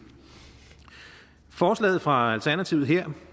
forslaget fra alternativet her